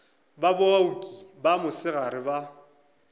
ba baoki ba mosegare ba